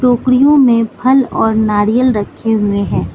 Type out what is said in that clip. टोकरियों में फल और नारियल रखे हुए हैं।